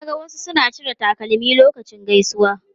Na ga wasu suna cire takalmi lokacin gaisuwa.